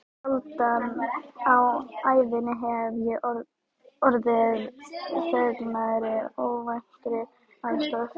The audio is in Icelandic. Sjaldan á ævinni hef ég orðið fegnari óvæntri aðstoð.